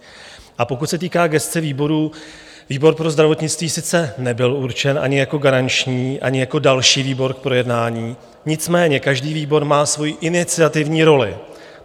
A pokud se týká gesce výborů, výbor pro zdravotnictví sice nebyl určen ani jako garanční, ani jako další výbor k projednání, nicméně každý výbor má svojí iniciativní roli.